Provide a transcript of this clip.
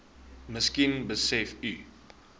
miskien besef u